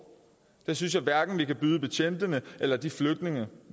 det synes jeg hverken vi kan byde betjentene eller de flygtninge